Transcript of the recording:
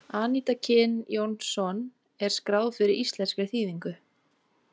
Anita Kyn Jónsson er skráð fyrir íslenskri þýðingu.